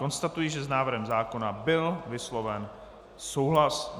Konstatuji, že s návrhem zákona byl vysloven souhlas.